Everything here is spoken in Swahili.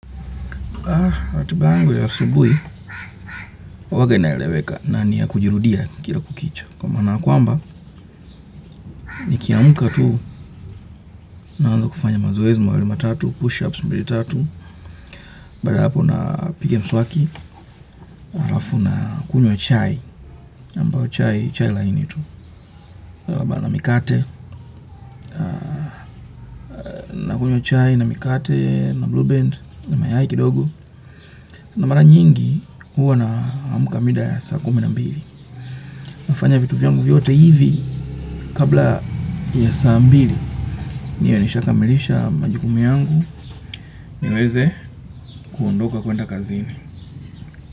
Ah, ratibayangu ya asubuhi, huwaga inaeleweka na niya kujirudia kila kukicha. Kwa maanaya kwamba, nikiamka tu, naanza kufanya mazoezi mahali matatu, pushups mbili tatu, baadaya hapo na pigams waki, alafu na kunywa chai, ambayo chai, chai lainitu. Na mikate, na kunywa chai, na mikate, na blue band, na mayai kidogo. Na mara nyingi, huwa na amka mida ya saa kumi na mbili. Nafanya vitu vyangu vyote hivi kabla ya saambili. Niwe nishaaka milisha majukumu yangu. Niweze kuondoka kwenda kazini.